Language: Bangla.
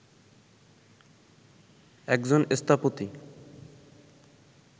একজন স্থপতি